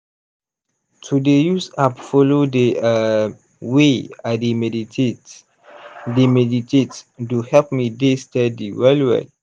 to dey use app follow dey um way i dey meditate dey meditate do help me dey steady well well.